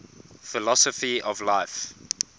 philosophy of life